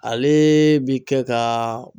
Alee bi kɛ kaa